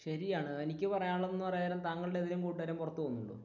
ശരിയാണ് എനിക്ക് പറയാനുള്ളത് എന്ന് പറയാൻ നേരം താങ്കളുടെ ഏതേലും കൂട്ടുകാരൻ പുറത്തു പോകുന്നുണ്ടോ?